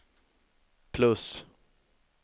plus